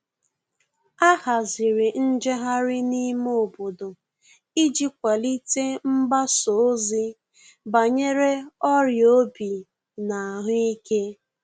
A haziri njeghari n'ime obodo iji kwalite mgbasa ozi banyere ọria obi na ahuike